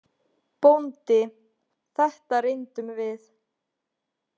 BÓNDI: Þetta reyndum við!